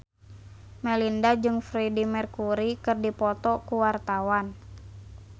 Melinda jeung Freedie Mercury keur dipoto ku wartawan